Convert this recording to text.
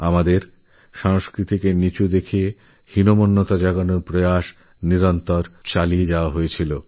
আমাদের সংস্কৃতিকে নীচহীন প্রতিপন্ন করার চেষ্টাও চলতো সব সময়